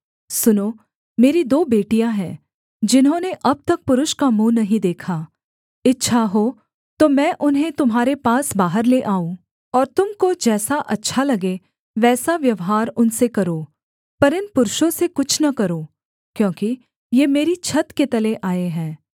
सुनो मेरी दो बेटियाँ हैं जिन्होंने अब तक पुरुष का मुँह नहीं देखा इच्छा हो तो मैं उन्हें तुम्हारे पास बाहर ले आऊँ और तुम को जैसा अच्छा लगे वैसा व्यवहार उनसे करो पर इन पुरुषों से कुछ न करो क्योंकि ये मेरी छत के तले आए हैं